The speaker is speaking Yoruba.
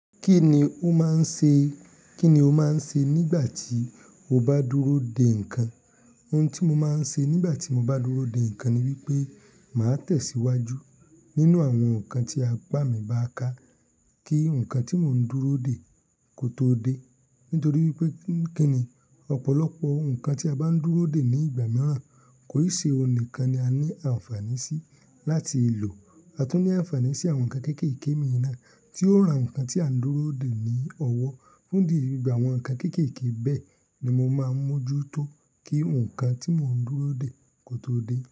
Kí ni o máa ń ṣe, kí ni o máa ń ṣe nígbà tí o bá dúró dè nǹkan? Ohun tí mo máa ń ṣe nígbà tí mo bá dúró dè nǹkan ni wípé màá tẹ̀síwájú nínú àwọn nǹkan tí apá mi bá ká kí nǹkan tí mò ń dúró dè kó tó dé. Nítorí wípé kí ni ọ̀pọ̀lọpọ̀ ohun kan tí a bá ń dúró dè ní ìgbà naa kò ì ṣe ọ̀hun nikan ni a ní àǹfààní sí láti lò. A tún ní àǹfààní sí àwọn nǹkan kéékèèké mìíràn na tí ó ń ra nǹkan tí à ń dúró dè ní ọwọ́. Fún di gbogbo àwọn nǹkan kéékèèké bẹ́ẹ̀ ni mo máa ń mójú tó kí nǹkan tí mò ń dúró dè kó tó dé.